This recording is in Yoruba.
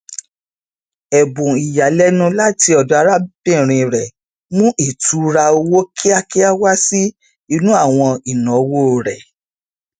ẹbùn ìyàlẹnu láti ọdọ arábìnrin rẹ mú ìtùúra owó kíákíá wá sí inú àwọn ináwó rẹ